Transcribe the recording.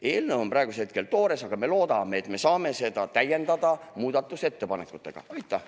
Eelnõu on praegu veel toores, aga me loodame, et saame seda muudatusettepanekutega täiendada.